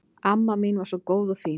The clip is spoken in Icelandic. Amma mín var svo góð og fín.